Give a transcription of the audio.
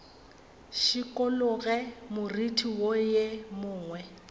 šikologe moriti wo ye nngwe